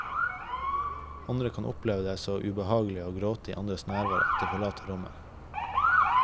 Andre kan oppleve det så ubehagelig å gråte i andres nærvær at de forlater rommet.